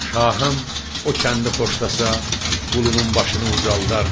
Şahım o kəndi xoşlasa, qulunun başını ucaldar.